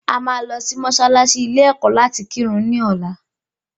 À máa lọ sí mọ́sálásí ilé ẹ̀kọ́ láti kírun ní ọ̀la